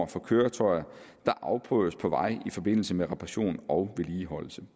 for køretøjer der afprøves på vej i forbindelse med reparation og vedligeholdelse